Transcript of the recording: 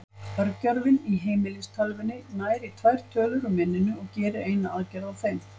Örgjörvinn í heimilistölvunni nær í tvær tölur úr minninu og gerir eina aðgerð á þeim.